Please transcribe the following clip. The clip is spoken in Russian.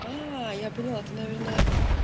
я поняла ты наверное